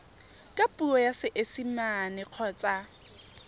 ka puo ya seesimane kgotsa